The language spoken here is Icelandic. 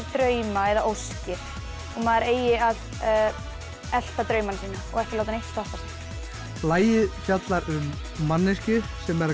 drauma eða óskir og maður eigi að elta draumana sína ekki láta neitt stoppa sig lagið fjallar um manneskju sem er